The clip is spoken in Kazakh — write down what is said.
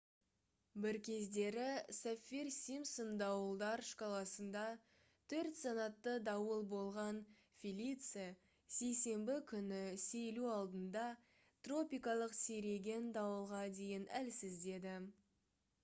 бір кездері саффир-симпсон дауылдар шкаласында 4-санатты дауыл болған «фелиция» сейсенбі күні сейілу алдында тропикалық сиреген дауылға дейін әлсіздеді